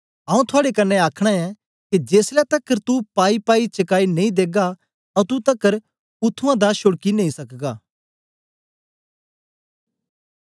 आऊँ थुआड़े कन्ने आखना ऐ के जेसलै तकर तू पाईपाई चकाई नेई देगा अतुं तकर उत्त्थुआं दा छोड़की नेई सकगा